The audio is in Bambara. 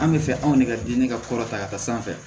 An bɛ fɛ anw de ka di ne ka kɔrɔ ta ka taa sanfɛ